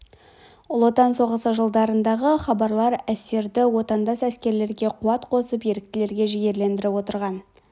ұлы отан соғысы жылдарындағы хабарлар әсері отандас әскерлерге қуат қосып ерліктерге жігерлендіріп отырған